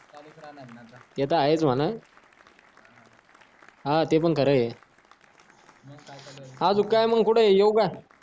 चालूच राहणार ये आता ते तर आहेच म्हणा हा ते पण खरं हा मग तू कुठं ये येऊ का